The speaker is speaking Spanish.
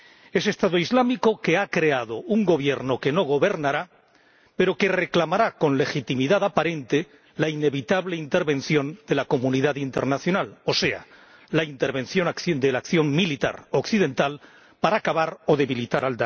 Ese Estado Islámico que ha creado un Gobierno que no gobernará, pero que reclamará con legitimidad aparente la inevitable intervención de la comunidad internacional, o sea, la intervención de la acción militar occidental para acabar con Daesh o debilitarlo.